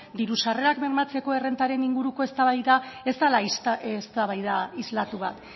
diru sarrerak bermatzeko errentaren inguruko eztabaida ez dela eztabaida islatu bat